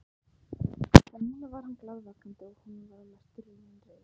En núna var hann glaðvakandi og honum var að mestu runnin reiðin.